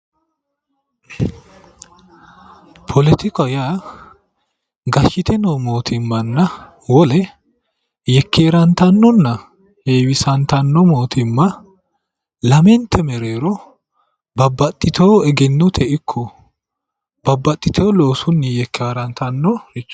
Politikaho yaa gashshite noo mootimmanna wole yekkerantanonna heewisantanno mootimma lamente mereero babbaxitino egennote ikko babbaxitino loosunni yekerantannorichooti